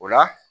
O la